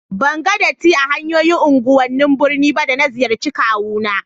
Ban ga datti a hanyoyin unguwannin birni ba da na ziyarce kawu na